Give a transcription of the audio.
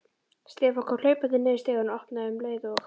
Stefán kom hlaupandi niður stigann og opnaði um leið og